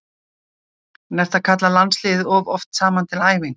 En ertu að kalla landsliðið of oft saman til æfinga?